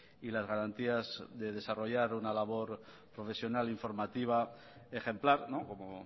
y las garantías de desarrollar una labor profesional informativa ejemplar como